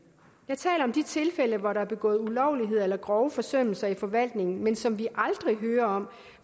jeg taler om de tilfælde hvor der er begået ulovligheder eller grove forsømmelser i forvaltningen men som vi aldrig hører om